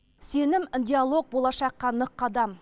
сенім диалог болашаққа нық қадам